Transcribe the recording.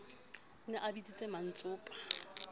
o ne a bitsitse mmantsopa